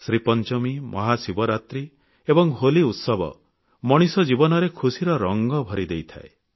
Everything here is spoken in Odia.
ଶ୍ରୀପଞ୍ଚମୀ ମହାଶିବରାତ୍ରୀ ଏବଂ ହୋଲି ଉତ୍ସବ ମଣିଷ ଜୀବନରେ ଖୁସିର ରଙ୍ଗ ଭରିଦେଇଥାଏ